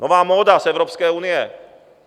Nová móda z Evropské unie.